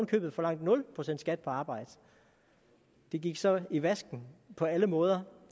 købet forlangte nul procent skat på arbejde det gik så i vasken på alle måder